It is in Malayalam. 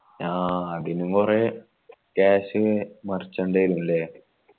ആ അതിനും കൊറേ cash മറച്ചെണ്ടിവരുയല്ലേ